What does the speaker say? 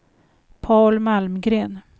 Paul Malmgren